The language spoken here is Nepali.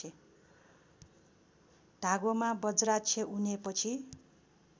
धागोमा बज्राक्ष उनेपछि